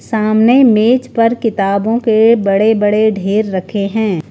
सामने मेज पर किताबों के बड़े-बड़े ढेर रखे हैं।